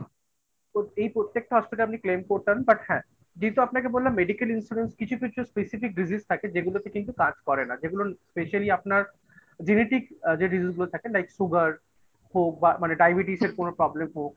তো এই প্রত্যেকটা Hospitalআপনি claim করতেন but হ্যাঁ. যেহেতু আপনাকে বললাম Medical Insurance কিছু কিছু Specific Diseases থাকে, যেগুলোতে কিন্তু কাজ করে না। যেগুলো Specially আপনার genetic যে Diseases গুলো থাকেLike sugar হোক বা মানে ডায়াবেটিসের কোনো problem হোক